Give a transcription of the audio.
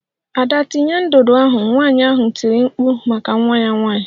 Ada tinye ndụdụ ahụ! Nwanyị ahụ tiri mkpu maka nwa ya nwanyị.